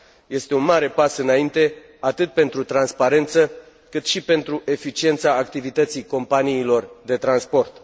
Este un mare pas înaintre, atât pentru transparență, cât și pentru eficiența activității companiilor de transport.